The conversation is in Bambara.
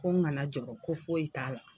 Ko n kana jɔɔrɔ ko foyi t'a la.